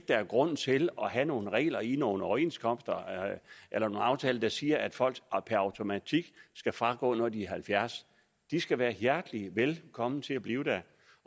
der er grund til at have nogle regler i nogle overenskomster eller nogle aftaler der siger at folk per automatik skal fragå når de er halvfjerds de skal være hjertelig velkommen til at blive der